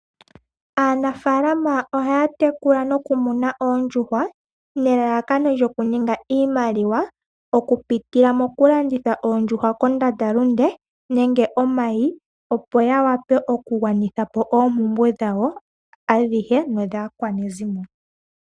Aanafalama ohaa tekula noku muna oondjuhwa nelalakano lyoku ninga iimaliwa. Oku pitila moku landitha oondjuhwa kondandalunde nenge oomayi opo ya wape oku gwanithapo ompumbwe dhawo adhihe no dhaa kwanezimo.